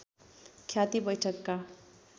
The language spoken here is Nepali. ख्याति वैठकका